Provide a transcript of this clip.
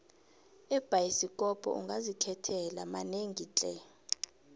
ebhayisikopo ungazikhethela manengi tle